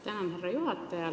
Tänan, härra juhataja!